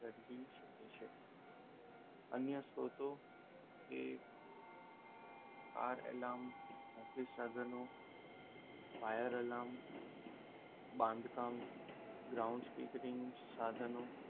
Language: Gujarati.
અન્ય સ્ત્રોતો કે આરઅલાર્મ, ઓફિસ સાધનો ફાયર અલાર્મ, બાંધકામ, ગ્રાઉન્ડ સ્પીકરિંગ સાધનો.